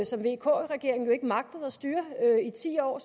som vk regeringen jo ikke magtede at styre i ti år